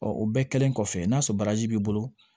Ɔ o bɛɛ kɛlen kɔfɛ n'a sɔrɔ baraji b'i bolo